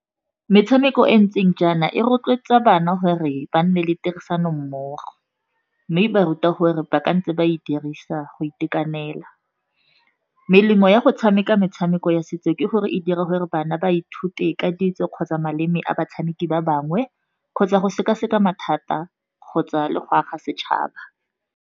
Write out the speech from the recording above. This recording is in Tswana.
Metshameko e ntseng jaana e rotloetsa bana gore ba nne le tirisanommogo, mme ba ruta gore ba ka ntse ba e dirisa go itekanela. Melemo ya go tshameka metshameko ya setso, ke gore e dira gore bana ba ithute ka ditso kgotsa maleme a batshameki ba bangwe, kgotsa go sekaseka mathata kgotsa le go aga setšhaba.